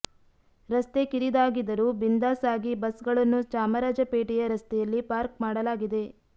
ರಸ್ತೆ ಕಿರಿದಾಗಿದರೂ ಬಿಂದಾಸ್ ಆಗಿ ಬಸ್ಗಳನ್ನು ಚಾಮರಾಜಪೇಟೆಯ ರಸ್ತೆಯಲ್ಲಿ ಪಾರ್ಕ್ ಮಾಡಲಾಗಿದೆ